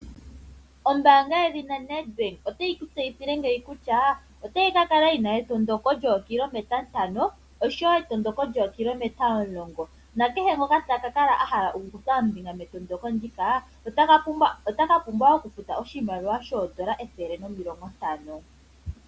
Ombaanga yedhina Nedbank otayi ku tseyithile ngeyi kutya otayi kakala yina etondoko lyookilometa ntano oshowo etondoko lyookilometa omulongo. Nakehe ngoka taka kutha ombinga metondoko ndika ota ka pumbwa okufuta oshimaliwa shoondola ethele nomilongo ntano.